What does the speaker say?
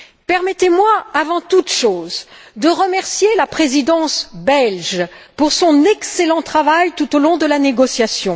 Permettez moi, avant toute chose, de remercier la Présidence belge pour son excellent travail tout au long de la négociation.